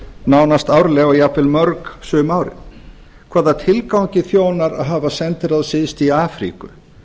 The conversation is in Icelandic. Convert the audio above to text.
nánast árlega og jafnvel mörg sum árin hvaða tilgangi þjónar að hafa sendiráð syðst í afríku